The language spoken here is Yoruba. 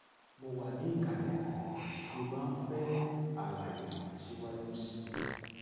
mo wà ní ìkàlẹ bí o bá ń fẹ àlàyé síwájú sí i